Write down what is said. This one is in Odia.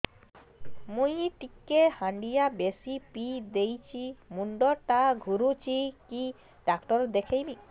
ମୁଇ ଟିକେ ହାଣ୍ଡିଆ ବେଶି ପିଇ ଦେଇଛି ମୁଣ୍ଡ ଟା ଘୁରୁଚି କି ଡାକ୍ତର ଦେଖେଇମି